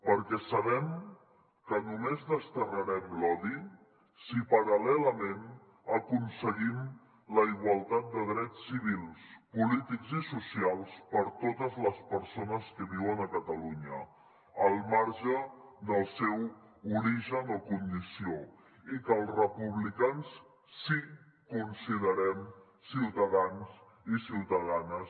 perquè sabem que només desterrarem l’odi si paral·lelament aconseguim la igualtat de drets civils polítics i socials per totes les persones que viuen a catalunya al marge del seu origen o condició i que els republicans sí que considerem ciutadans i ciutadanes